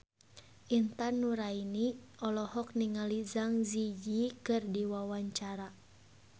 Intan Nuraini olohok ningali Zang Zi Yi keur diwawancara